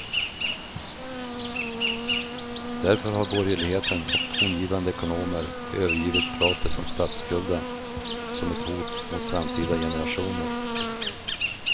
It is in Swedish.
Därför har borgerligheten och tongivande ekonomer övergivit pratet om statsskulden som ett hot mot framtida generationer.